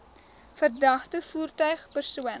verdagte voertuig persoon